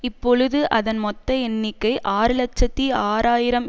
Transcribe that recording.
இப்பொழுது அதன் மொத்த எண்ணிக்கை ஆறு இலட்சத்தி ஆறு ஆயிரம்